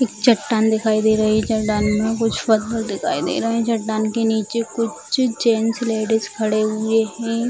एक चट्टान दिखाई दे रही है चट्टान में कुछ पत्थर दिखाई दे रहे है चट्टान के नीचे कुछ जेंट्स और लेडिस खड़े हुए हैं।